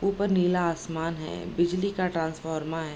ऊपर नीला आसमान है बिजली का ट्रांसफ़ॉर्मा है।